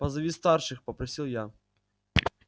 позови старших попросил я